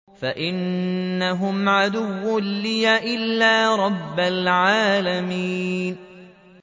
فَإِنَّهُمْ عَدُوٌّ لِّي إِلَّا رَبَّ الْعَالَمِينَ